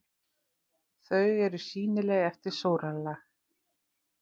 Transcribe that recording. Þau eru sýnileg eftir sólarlag.